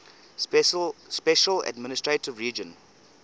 special administrative region